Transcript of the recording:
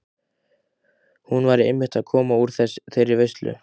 Hann væri einmitt að koma úr þeirri veislu.